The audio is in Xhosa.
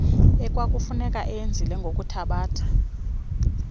ekwakufuneka eyenzile ngokuthabatha